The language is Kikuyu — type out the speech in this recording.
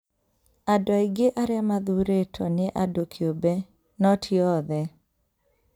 Andũ aingĩ arĩa mathuurĩtwo nĩ andũ kĩũmbe, no ti othe.